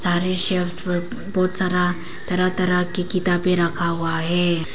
बहुत सारा तरह तरह की किताबें रखा हुआ है।